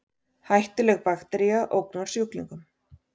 Hættuleg baktería ógnar sjúklingum